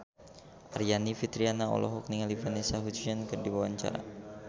Aryani Fitriana olohok ningali Vanessa Hudgens keur diwawancara